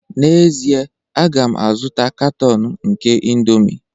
N'ezie, a ga m azụta katọn nke indomie